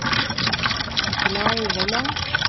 Nikolai Vollan